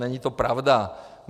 Není to pravda.